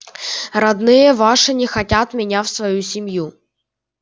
родные ваши не хотят меня в свою семью